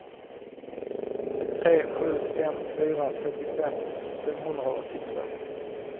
tre sju fem fyra trettiofem femhundraåttiotvå